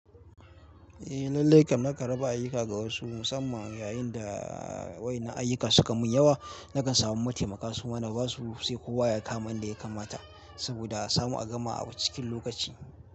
Eh, lallai kam na kan raba ayuka ga wasu musamman yayin da wayanan ayuka suka mun yawa. Nakan samu mataimaka su mana, ba su sai kowa ya kama inda ya kamata saboda a samu a gama a cikin lokaci.